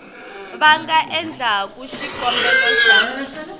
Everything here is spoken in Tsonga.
va nga endlaku xikombelo xa